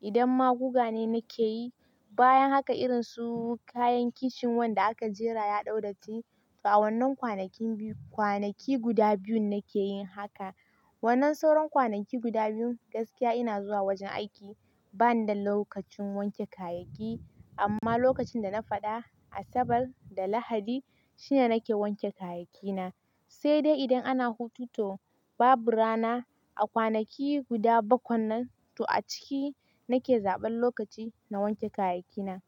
Idan maguga ne nake yi, bayan haka irin su kayan kicin wanda aka jera ya dau datti. To a wannan kwanakin biyu, kwanaki guda biyun nake yin haka. Wannan sauran kwanaki guda biyun, gaskiya ina zuwa wajen aiki. Bani da lokacin wanke kayayyaki. Amma lokacin da na faɗa, Asabar da Lahadi shine nake wanke kayayyaki na. Sai dai idan ana hutu to, babu rana a kwanaki guda bakwan nan. To a ciki nake zaɓan lokaci na wanke kayayyaki na.